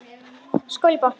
Skál í botn!